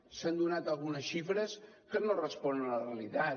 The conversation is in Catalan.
s’han donat algunes xifres que no responen a la realitat